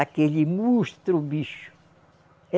Aquele monstro, o bicho!